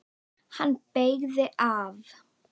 Hann beygði af.